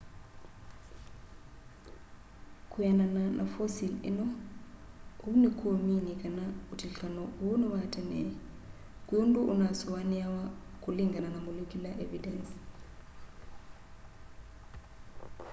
kwianana na fosil ino uu nikumini kana utilikano uu ni wa tene kwi undu unasuaniawa kulingana na molecular evidence